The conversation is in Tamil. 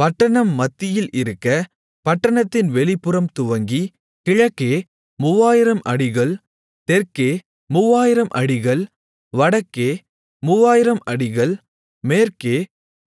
பட்டணம் மத்தியில் இருக்க பட்டணத்தின் வெளிப்புறம் துவங்கி கிழக்கே 3000 அடிகள் தெற்கே 3000 அடிகள் வடக்கே 3000 அடிகள் மேற்கே